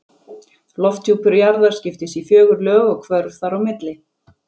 Lofthjúpur jarðar skiptist í fjögur lög og hvörf þar á milli.